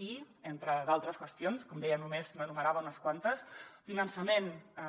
i entre d’altres qüestions com deia només n’enumerava unes quantes finançament